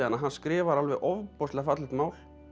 hann skrifar alveg ofboðslega fallegt mál